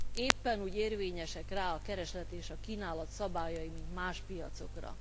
Éppen úgy érvényesek rá a kereslet és a kínálat szabályai, mint más piacokra.